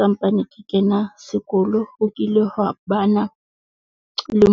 Sampane ke kena sekolo, O kile ho wa bana le